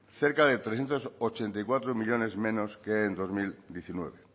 cerca de trescientos ochenta y cuatro millónes menos que en dos mil diecinueve